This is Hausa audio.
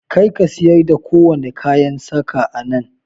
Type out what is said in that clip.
Kar ka siyar da kowane kayan saƙa a nan!